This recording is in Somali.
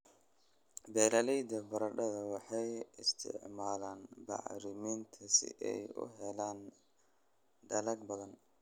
Beeralayda baradhada waxay isticmaalaan bacriminta si ay u helaan dalag badan.